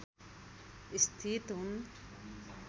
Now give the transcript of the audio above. स्थित हुन्